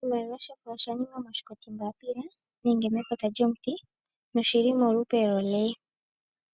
Oshimaliwa osha ningwa moshinkoti mbaapila nenge mekota lyomuti noshili molupe lwoole.